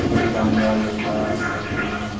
মৃদাঙ্গা লেখা আসে ওখানে।